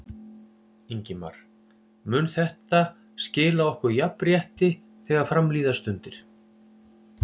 Ingimar: Mun þetta skila okkur jafnrétti þegar fram líða stundir?